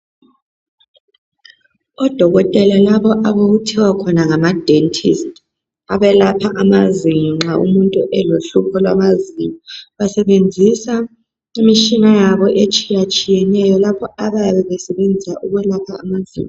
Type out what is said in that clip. Odokotela labo obakuthiwa khona ngamadentist abelapha amazinyo nxa umuntu elohlupho lwamazinyo basebenzisa imitshina yabo etshiyatshiyeneyo lapho abayabesenzisa ukwelapha amazinyo.